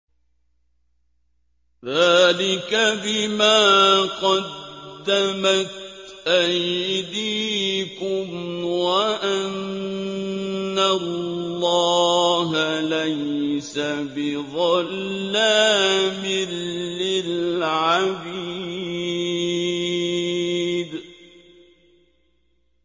ذَٰلِكَ بِمَا قَدَّمَتْ أَيْدِيكُمْ وَأَنَّ اللَّهَ لَيْسَ بِظَلَّامٍ لِّلْعَبِيدِ